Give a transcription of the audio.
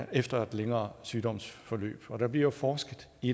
efter et længere sygdomsforløb og der bliver forsket i